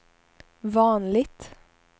vanligt